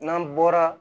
N'an bɔra